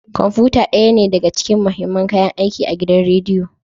Kwamfuta ɗaya ne daga cikin mahimman kayan aiki a gidan rediyo.